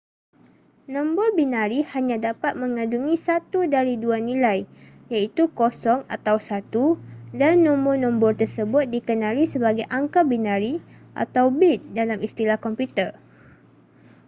nombor binari hanya dapat mengandungi satu dari dua nilai iaitu 0 atau 1 dan nombor-nombor tersebut dikenali sebagai angka binari atau bit dalam istilah komputer